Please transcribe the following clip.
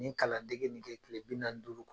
Ni kalan dege nin kɛ kile bi naani ni duuru kɔnɔ.